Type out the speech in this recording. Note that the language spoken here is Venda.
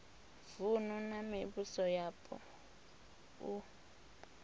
vunu na mivhuso yapo u